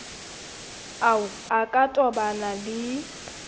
ao a ka tobanang le